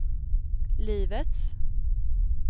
livets